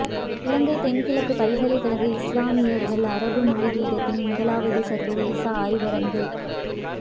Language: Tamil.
இலங்கை தென்கிழக்கு பல்கலைக்கழக இஸ்லாமிய கற்கைகள் அரபு மொழி பீடத்தின் முதலாவது சர்வதேச ஆய்வரங்கு